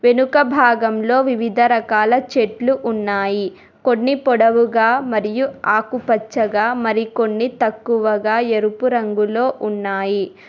వెనుక భాగంలో వివిధ రకాల చెట్లు ఉన్నాయి కొన్ని పొడవుగా మరియు ఆకుపచ్చగా మరికొన్ని తక్కువగా ఎరుపు రంగులో ఉన్నాయి.